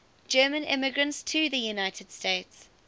german immigrants to the united states